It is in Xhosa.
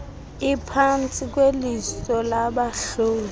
iphantsi kweliso labahloli